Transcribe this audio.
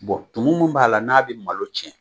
Bon tumu min b'a la n'a bɛ malo tiɲɛ